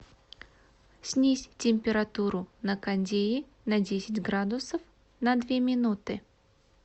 снизь температуру на кондее на десять градусов на две минуты